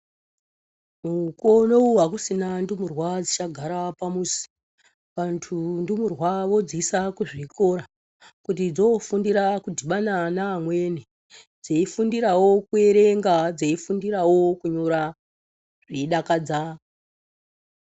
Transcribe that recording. Mukuwouno akuchina ndumurwa dzichagara pamuzi vantu ndumurwa vodziisa kuzvikora kuti dzofundira kudhibana naamweni dzeifundirawo kuerenga dzeifundirawo kunyora zveidakadza.